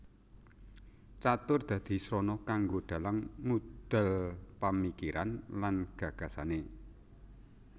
Catur dadi srana kanggo dalang ngudal pamikiran lan gagasane